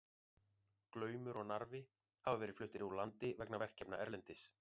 Glaumur og Narfi hafa verið fluttir úr landi vegna verkefna erlendis.